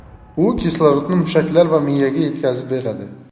U kislorodni mushaklar va miyaga yetkazib beradi.